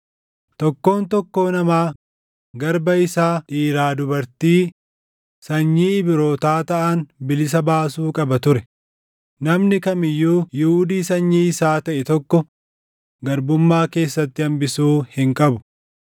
Tokkoon tokkoo namaa garba isaa dhiiraa dubartii sanyii Ibrootaa taʼan bilisa baasuu qaba ture; namni kam iyyuu Yihuudii sanyii isaa taʼe tokko garbummaa keessatti hambisuu hin qabu.